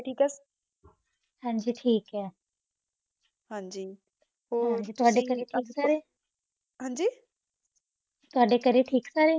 ਠੀਕ ਆ ਹਾਂਜੀ ਠੀਕ ਆ। ਹਾਂਜੀ ਹੋਰ, ਤੁਹਾਡੇ ਘਰੇ ਠੀਕ ਸਾਰੇ? ਹਾਂਜੀ? ਤੁਹਾਡੇ ਘਰੇ ਠੀਕ ਸਾਰੇ?